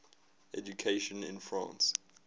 education in france